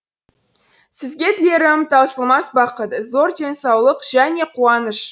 сізге тілерім таусылмас бақыт зор денсаулық және қуаныш